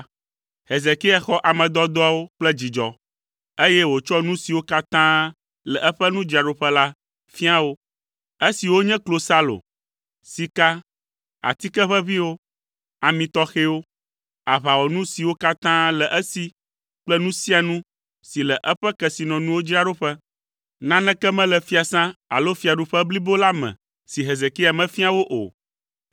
Hezekia xɔ ame dɔdɔawo kple dzidzɔ, eye wòtsɔ nu siwo katã le eƒe nudzraɖoƒe la fia wo; esiwo nye klosalo, sika, atike ʋeʋĩwo, ami tɔxɛwo, aʋawɔnu siwo katã le esi kple nu sia nu si le eƒe kesinɔnuwo dzraɖoƒe. Naneke mele fiasã alo fiaɖuƒe blibo la me si Hezekia mefia wo o.